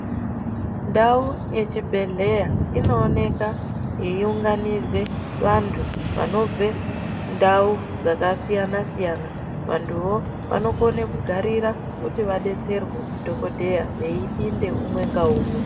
Ndau yechibhedhleya inooneka yeiunganidze vantu vanobve ndau dzakasiyana siyana. Vantuwo vanokone kugarira kuti vadetserwe ndidhokodheya veipinde umwe ngaumwe.